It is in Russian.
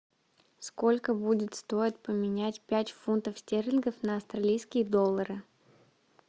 сколько будет стоить поменять пять фунтов стерлингов на австралийские доллары